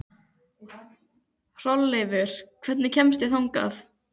Hrolleifur, hvernig kemst ég þangað?